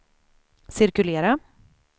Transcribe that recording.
cirkulera